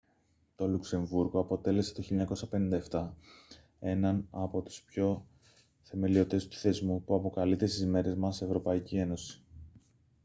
το λουξεμβούργο αποτέλεσε το 1957 έναν από τους θεμελιωτές του θεσμού που αποκαλείται στις μέρες μας εε